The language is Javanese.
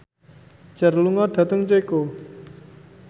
Cher lunga dhateng Ceko